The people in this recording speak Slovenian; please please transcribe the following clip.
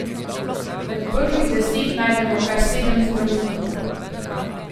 Med prvih deset najdemo kar sedem zdravnikov.